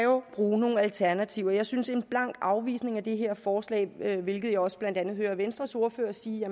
bruge nogle alternativer jeg synes en blank afvisning af det her forslag at der hvilket jeg også blandt andet hører venstres ordfører sige